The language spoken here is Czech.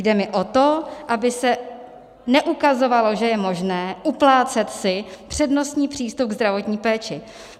Jde mi o to, aby se neukazovalo, že je možné uplácet si přednostní přístup ke zdravotní péči.